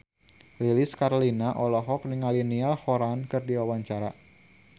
Lilis Karlina olohok ningali Niall Horran keur diwawancara